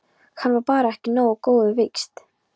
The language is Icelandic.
Hann var bara ekki nógu góður, víst.